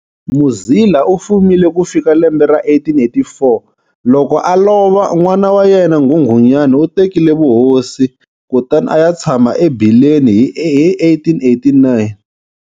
Muzila u fumile ku fika lembe ra 1884 loko a lova. N'wana wa yena Nghunghunyane u tekile vuhosi, kutani a ya tshama eBileni hi 1889.